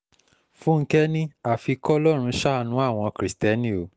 fúnkẹ́ ni afi kọlọ́run ṣàánú àwọn kristẹni o